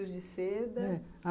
E os fios de seda? é.